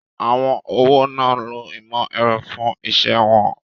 Àwọn ọ̀wọ́ náà ń lo ìmò ẹ̀rọ fún iṣẹ́ won